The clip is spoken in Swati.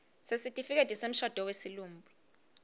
sesitifiketi semshado wesilumbi